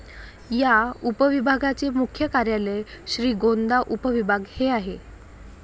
या उपविभागाचे मुख्य कार्यालय श्रीगोंदा उपविभाग हे आहे.